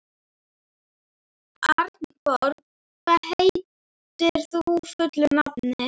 Arnborg, hvað heitir þú fullu nafni?